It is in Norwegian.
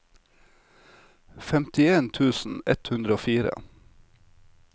femtien tusen ett hundre og fire